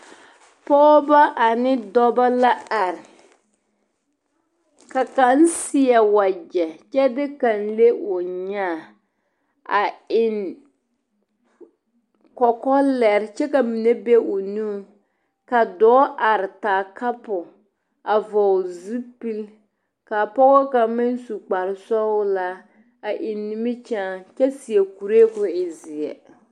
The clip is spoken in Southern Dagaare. Pɔɔba ane dɔbɔ ba la are ka kaŋ seɛ wagyɛ kyɛ de kaŋ le o nyaa a eŋ kɔkɔlɛre kyɛ ka mine be o nuŋ ka dɔɔ are ka a kapore a vɔgle zupili ka a pɔge kaŋ meŋ su kparesɔglaa a eŋ nimikyaani kyɛ seɛ kuree k'o e seɛ.